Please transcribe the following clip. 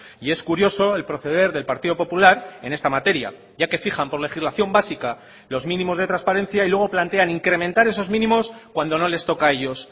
y es curioso el proceder del partido popular en esta materia ya que fijan por legislación básica los mínimos de transparencia y luego plantean incrementar esos mínimos cuando no les toca a ellos